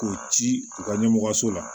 K'o ci u ka ɲɛmɔgɔso la